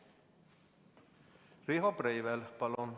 Riho Breivel, palun!